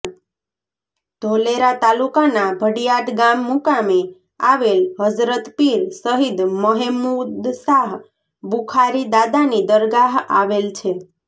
ધોલેરા તાલુકાના ભડિયાદ ગામ મુકામે આવેલ હઝરત પીર શહીદ મહેમુદશાહ બુખારી દાદાની દરગાહ આવેલ છે